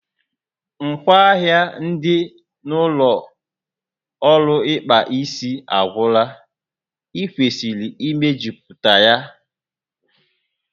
Ngwaahịa dị n'ụlọ ọrụ ịkpa isi a agwụla, ị kwesịrị imejuputa ya